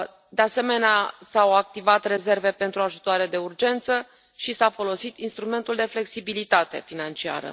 De asemenea, s au activat rezerve pentru ajutoare de urgență și s a folosit instrumentul de flexibilitate financiară.